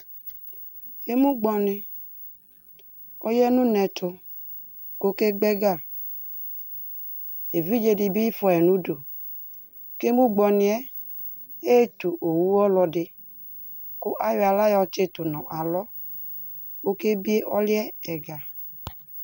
Emugbɔni, ɔyanunɛtu kokegbɛgaEvidze dibi fuayi nuduKemugbɔniɛ eetu owu ɔlɔdiKʋ ayɔ aɣla yɔtsitu nʋ alɔOkebie ɔluɛ ɛga